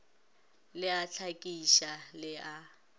le a hlakiša le a